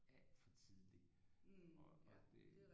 Alt for tidligt og og det